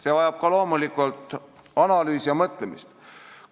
See vajab loomulikult analüüsi ja läbimõtlemist.